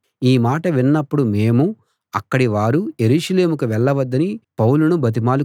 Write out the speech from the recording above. ఈ మాట విన్నప్పుడు మేమూ అక్కడివారూ యెరూషలేముకు వెళ్ళవద్దని పౌలును బతిమాలుకొన్నాం